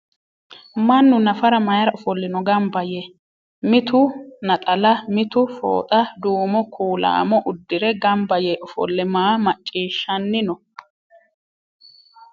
Mannu nafara mayiira ofollino gamba Yee ? Mitu naxalla mitu fooxa duumo kuulaamo uddire gamba Yee ofolle maa macciishahanni no ?